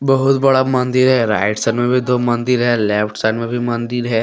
बहुत बड़ा मंदिर है। राइट साइड में भी दो मंदिर है। लेफ्ट साइड में भी मंदिर है।